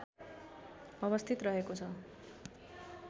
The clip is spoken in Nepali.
अवस्थित रहेको छ